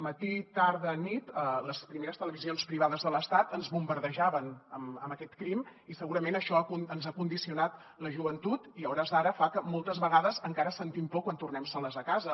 matí tarda nit les primeres televisions privades de l’estat ens bombardejaven amb aquest crim i segurament això ens ha condicionat la joventut i a hores d’ara fa que moltes vegades encara sentim por quan tornem soles a casa